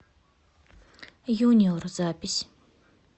юниор запись